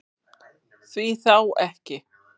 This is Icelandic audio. Því þá ekki?